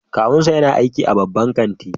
Kawunsa yana aiki a babban kanti